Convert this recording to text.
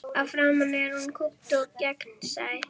Að framan er hún kúpt og gegnsæ.